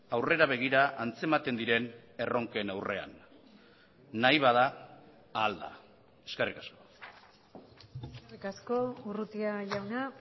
aurrera begira antzematen diren erronken aurrean nahi bada ahal da eskerrik asko eskerrik asko urrutia jauna